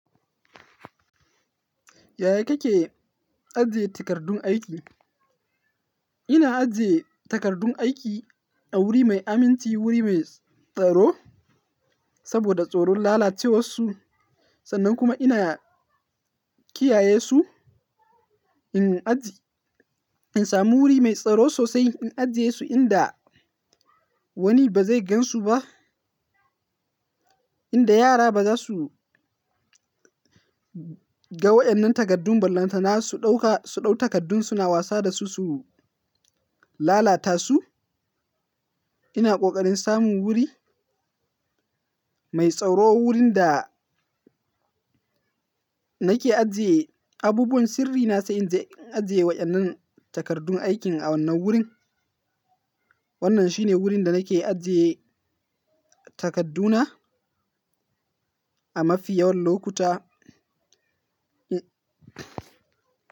Yaya kake ajiye takardun aiki? Ina ajiye takardun aiki a wuri mai aminci, wuri mai tsaro saboda tsoron lalacewarsu. Sannan kuma ina kiyaye su, in aji-- in samu wuri mai tsaro sosai, in ajiye su inda wani ba zai gansu ba. Inda yara ba za su ga waɗannan takardun, ballanta na su ɗauka, su ɗau takardun suna wasa da su, su lalata su. Ina ƙoƙarin samun wuri mai tsaro, wurin da nake ajiye abubuwan sirri na, sai in je, in ajiye waɗannan takardun aikin a wannan wurin. Wannan shine wurin da nake ajiye takarduna a mafi yawan lokuta.